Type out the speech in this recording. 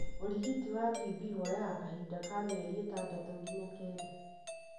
ũrigiti wa TB woyaga kahinda ka mĩeri itandatũ nginya kenda.